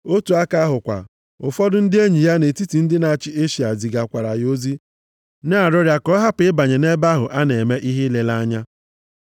Otu aka ahụ kwa, ụfọdụ ndị enyi ya nʼetiti ndị na-achị Eshịa zigakwaara ya ozi na-arịọ ya ka ọ hapụ ịbanye nʼebe ahụ a na-eme ihe ileleanya.